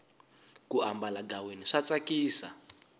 ku ambala ghaweni swa tsakisa